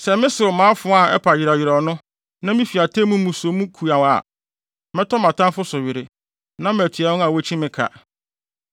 sɛ mesew me afoa a ɛpa yerɛwyerɛw no na mifi atemmu mu so mu kuaw a, mɛtɔ mʼatamfo so were na matua wɔn a wokyi me ka.